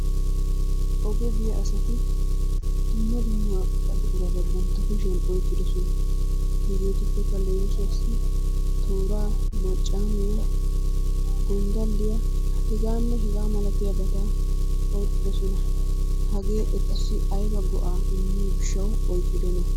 Oge biya asati dumma dumma buqurata bantta kushiyan oykkidosona. Hegeetuppekka leemisuwaassi tooraa, maccaamiya, gonddalliya hegaanne hegaa malatiyaabata oyqqidosona. Hagee etussi ayba go'aa immiyo gishshawu oyqqidonaa?